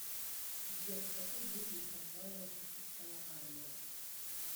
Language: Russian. сбер в какой битве прославился шестая армия